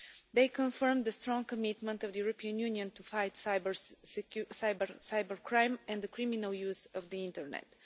They confirmed the strong commitment of the European Union to fight cybercrime and the criminal use of the internet.